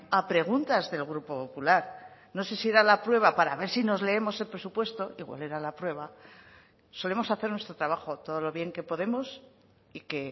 a preguntas del grupo popular no sé si era la prueba para ver si nos leemos el presupuesto igual era la prueba solemos hacer nuestro trabajo todo lo bien que podemos y que